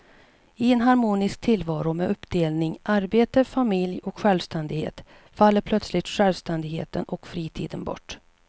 I en harmonisk tillvaro med uppdelningen arbete, familj och självständighet faller plötsligt självständigheten och fritiden bort.